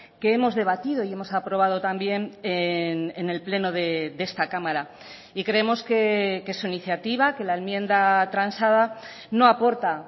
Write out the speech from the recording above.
que hemos debatido y hemos aprobado también en el pleno de esta cámara y creemos que su iniciativa que la enmienda transada no aporta